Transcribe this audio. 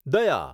દયા